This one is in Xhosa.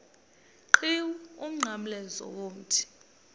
qhiwu umnqamlezo womthi